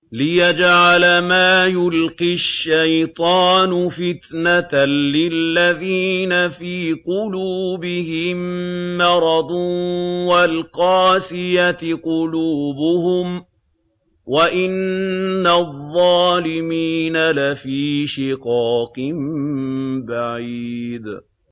لِّيَجْعَلَ مَا يُلْقِي الشَّيْطَانُ فِتْنَةً لِّلَّذِينَ فِي قُلُوبِهِم مَّرَضٌ وَالْقَاسِيَةِ قُلُوبُهُمْ ۗ وَإِنَّ الظَّالِمِينَ لَفِي شِقَاقٍ بَعِيدٍ